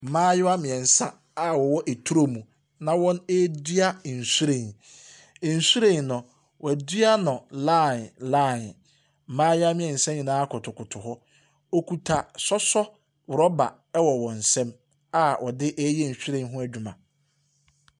Mmayewa mmeɛnsa a wɔwɔ turo mu na wɔredua nhwiren. Nhwiren no, wɔadua no line line. Mmaayewa yi mmeansa nyinaa kotokoto hɔ. Wɔkita sɔsɔ rɔba wɔ wɔn nsam a wɔde reyɛ nhwiren ho adwuma.